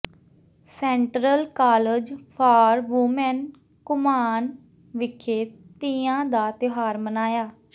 central college for women Ghuman ਵਿਖੇ ਤੀਆਂ ਦਾ ਤਿਉਹਾਰ ਮਨਾਇਆ